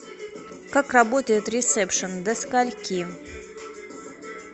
как работает ресепшн до скольки